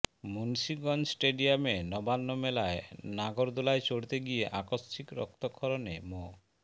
মুন্সিগঞ্জ স্টেডিয়ামে নবান্ন মেলায় নাগরদোলায় চড়তে গিয়ে আকস্মিক রক্তক্ষরণে মো